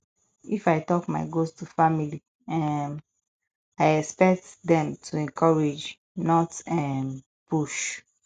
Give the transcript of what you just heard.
if i talk my goals to family um i expect dem to encourage not um push